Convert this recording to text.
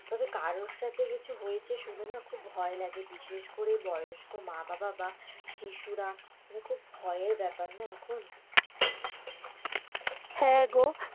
তবে কারও সাথে কিছু হয়েছে শুনে না খুব ভয় লাগে বিশেষ করে বয়স্ক মা-বাবা বা পিসু রা খুব ভয়ের বেপার না এখন, হেঁ গো,